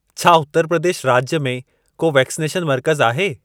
छा उत्तर प्रदेश राज्य में को वैक्सनेशन मर्कज़ आहे?